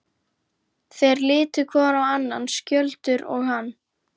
Þeir litu hvor á annan, Skjöldur og hann.